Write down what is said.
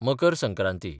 Makar Sankranti